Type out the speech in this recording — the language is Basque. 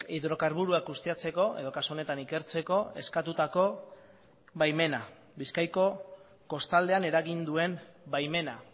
hidrokarburoak ustiatzeko edo kasu honetan ikertzeko eskatutako baimena bizkaiko kostaldean eragin duen baimena